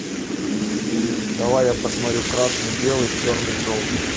давай я посмотрю красный белый черный желтый